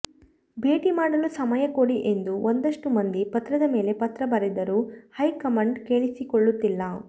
ಭೇಟಿ ಮಾಡಲು ಸಮಯ ಕೊಡಿ ಎಂದು ಒಂದಷ್ಟು ಮಂದಿ ಪತ್ರದ ಮೇಲೆ ಪತ್ರ ಬರೆದರೂ ಹೈಕಮಾಂಡ್ ಕೇಳಿಸಿಕೊಳ್ಳುತ್ತಿಲ್ಲ